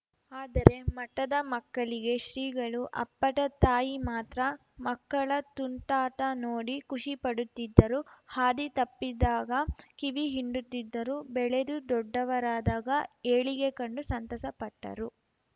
ಆದರೆ ಮಠದ ಮಕ್ಕಳಿಗೆ ಶ್ರೀಗಳು ಅಪ್ಪಟ ತಾಯಿ ಮಾತ್ರ ಮಕ್ಕಳ ತುಂಟಾಟ ನೋಡಿ ಖುಷಿಪಡುತ್ತಿದ್ದರು ಹಾದಿ ತಪ್ಪಿದಾಗ ಕಿವಿ ಹಿಂಡುತ್ತಿದ್ದರು ಬೆಳೆದು ದೊಡ್ಡವರಾದಾಗ ಏಳಿಗೆ ಕಂಡು ಸಂತಸ ಪಟ್ಟರು